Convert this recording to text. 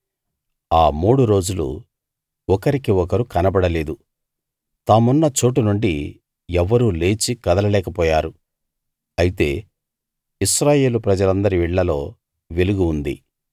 ఆ మూడు రోజులు ఒకరికి ఒకరు కనబడలేదు తామున్న చోటు నుండి ఎవ్వరూ లేచి కదలలేకపోయారు అయితే ఇశ్రాయేలు ప్రజలందరి ఇళ్ళలో వెలుగు ఉంది